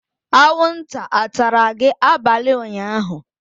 anwụnta atara gị abalị ụnyaahụ?